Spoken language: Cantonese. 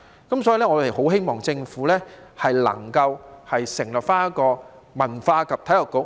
因此，我們很希望政府能夠成立文化及體育局。